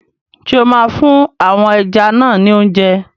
Ṣé o máa fún àwọn ẹja náà ni óúnjẹ?